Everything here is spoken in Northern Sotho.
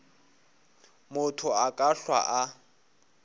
motho a ka hlwa a